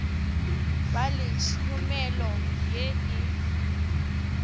ba le tšhomelo ye e